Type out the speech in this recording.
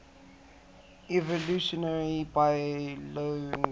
evolutionary biologists